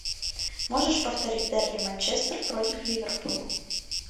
можешь повторить дерби манчестер против ливерпуля